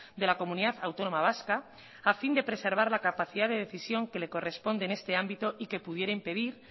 de la comunidad autónoma vasca a fin de preservar la capacidad de decisión que le corresponde en este ámbito y que pudiera impedir